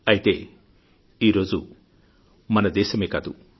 అయితే ఈరోజు మన దేశమే కాదు